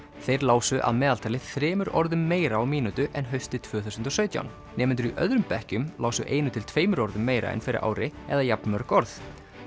þeir lásu að meðaltali þremur orðum meira á mínútu en haustið tvö þúsund og sautján nemendur í öðrum bekkjum lásu einu til tveimur orðum meira en fyrir ári eða jafnmörg orð